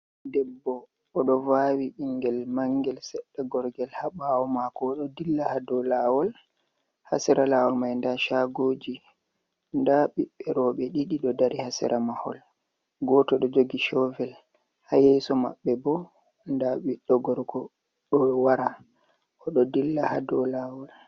Debbo, o ɗo vaawi ɓingel mangel seɗɗa gorgel ha ɓaawo maako o ɗo dilla ha dow laawol, ha sera laawol mai nda shaagooji, nda ɓiɓɓe roɓe ɗiɗi ɗo dari ha sera mahol, gooto ɗo jogi shoovel, ha yeeso maɓɓe bo nda ɓiɗɗo gorko ɗo wara, o ɗo dilla ha dow laawol.